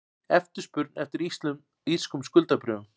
Eftirspurn eftir írskum skuldabréfum